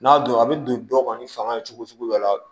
N'a don a bɛ don dɔ kɔni fanga ye cogo sugu dɔ la